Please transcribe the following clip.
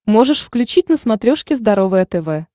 можешь включить на смотрешке здоровое тв